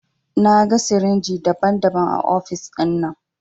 Na gan sirinji daban-daban a ofis dinnan.